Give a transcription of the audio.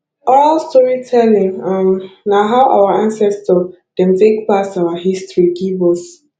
oral storytelling um na how our ancestor dem take pass our history give us